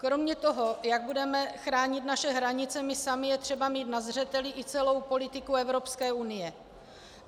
Kromě toho, jak budeme chránit naše hranice my sami, je třeba mít na zřeteli i celou politiku Evropské unie.